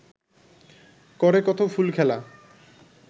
করে কত ফুলখেলা